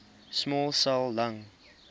small cell lung